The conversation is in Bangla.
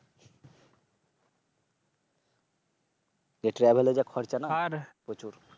যে Travel এ যা খরচা না প্রচুর।